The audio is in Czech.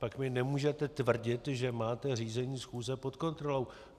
Pak mi nemůžete tvrdit, že máte řízení schůze pod kontrolou.